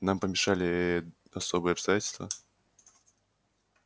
нам помешали ээ особые обстоятельства